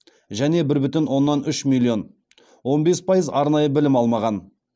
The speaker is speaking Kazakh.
және бір бүтін оннан үш миллион он бес пайыз арнайы білім алмаған